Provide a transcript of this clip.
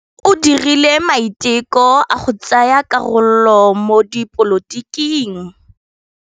O dirile maitekô a go tsaya karolo mo dipolotiking.